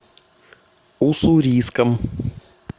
уссурийском